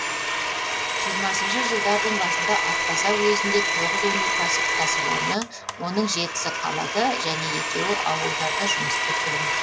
жиырмасыншы жылдардың басында атбасар уезінде тоғыз өнеркәсіп кәсіпорыны оның жетісі қалада және екеуі ауылдарда жұмыс істеп тұрды